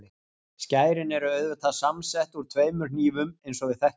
Skærin eru auðvitað samsett úr tveimur hnífum eins og við þekkjum.